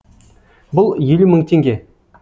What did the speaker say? бұл елу мың теңге